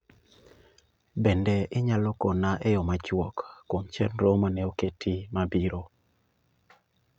Bende inyalo kona eyo machuok kuom chenro mane oketi mabiro